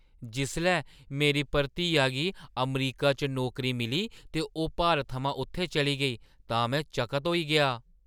जिसलै मेरी भतरीआ गी अमरीका च नौकरी मिली ते ओह् भारत थमां उत्थै चली गेई तां में चकत होई गेआ।